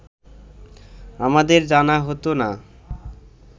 আমাদের জানা হতো না